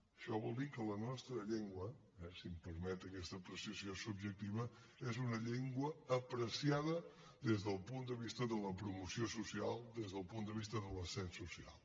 això vol dir que la nostra llengua eh si em permet aquesta apreciació subjectiva és una llengua apreciada des del punt de vista de la promoció social des del punt de vista de l’ascens social